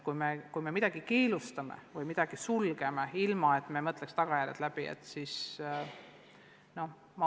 Kui me midagi keelustame või sulgeme, siis tuleb tagajärjed läbi mõelda.